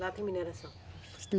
Lá tem mineração.